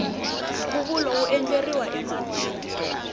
nkhuvulo wu endleriwa ematini